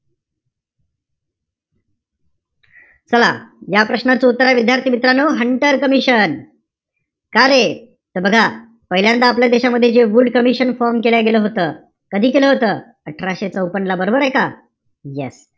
चला, या प्रश्नाचं उत्तरे, विद्यार्थी-मित्रांनो हंटर कमिशन. का रे? त पहिल्यांदा आपल्या देशामध्ये वूड कमिशन केलं गेलं होतं. कधी केलं होतं? अठराशे चौपन्न ला. बरोबरय का? Yes.